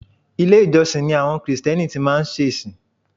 Ilé-ìjọsìn ni àwọn Krìsìtẹ́nì tí má ń ṣe ìsìn